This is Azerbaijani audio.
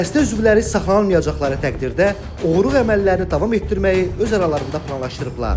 Dəstə üzvləri saxlanılmayacaqları təqdirdə oğurluq əməllərini davam etdirməyi öz aralarında planlaşdırıblar.